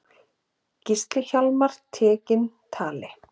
Gísli Hjálmar tekinn tali.